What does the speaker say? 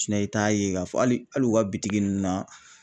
i t'a ye k'a fɔ hali hali u ka bitigi ninnu na